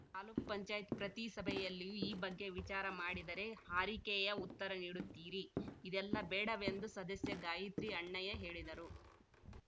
ತಾಲ್ಲುಕ್ ಪಂಚಾಯತ್ ಪ್ರತಿ ಸಭೆಯಲ್ಲಿಯೂ ಈ ಬಗ್ಗೆ ವಿಚಾರ ಮಾಡಿದರೆ ಹಾರಿಕೆಯ ಉತ್ತರ ನೀಡುತ್ತೀರಿ ಇದೆಲ್ಲ ಬೇಡವೆಂದು ಸದಸ್ಯೆ ಗಾಯಿತ್ರಿ ಅಣ್ಣಯ್ಯ ಹೇಳಿದರು